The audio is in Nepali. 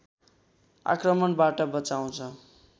आक्रमणबाट बचाउँछ